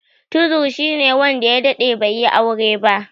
Tuzur shine wanda ya daɗe bai yi aure ba.